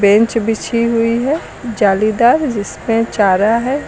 Bench बिछी हुई है जालीदार जिसपे चारा है।